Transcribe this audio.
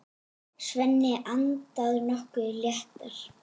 Svenni andað nokkru léttar.